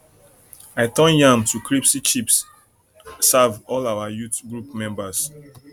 i turn yam to crispy chips crispy chips serve all our youth group members